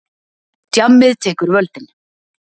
Djammið tekur völdin.